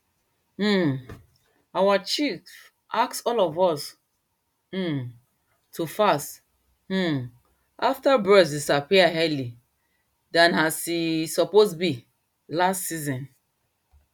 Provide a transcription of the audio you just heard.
um our chief ask all of us um to fast um after birds disappear early than as e suppose be last season